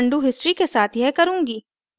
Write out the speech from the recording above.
और मैं undo history के साथ यह करुँगी